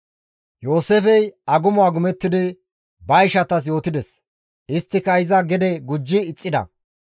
Yooseefey agumo agumettidi ba ishatas yootides; isttika iza gede gujji ixxida.